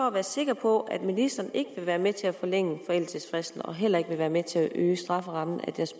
at være sikker på at ministeren ikke vil være med til at forlænge forældelsesfristen og heller ikke vil være med til at øge strafferammen